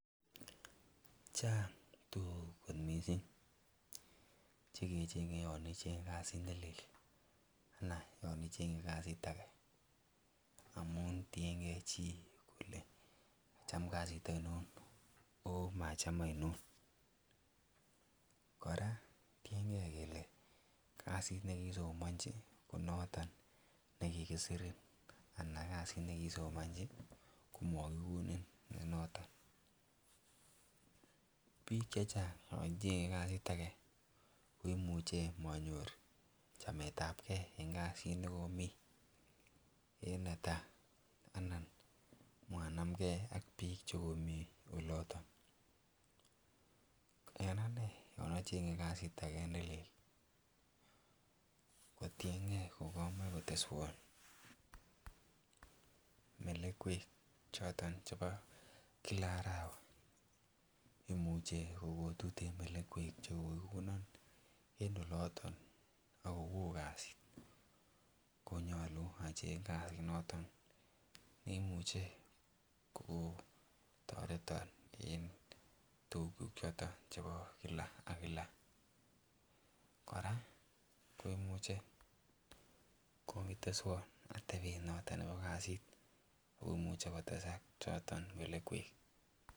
Chang tuguk kot missing chekecheng'e yan kichenge kasit nelel anan yan icheng'e kasit age amun tiengee chi kole kacham kasit oinon ako macham oinon. Kora tiengee kele kasit nekiisomonchi ko noton nekikisorin anan kasit nekiisomonchi komokikonin nenoton. Biik chechang yon cheng'e kasit age koimuche monyor chametabgee an kasit nekomii en netaa anan manamgee ak biik chekomii oloton. En anee yan acheng'e kasit age nelel kotiengee kamoe koteswon melekwek choton chebo kila arawa. Imuche kokotuten melekwek chekokikonon en oloton ako woo kasit konyolu acheng kasit noton neimuche kokon toreton en tuguk choton chebo kila ak kila. Kora ko imuche kokiteswon atebet noton nebo kasit komuche kotesak choton melekwek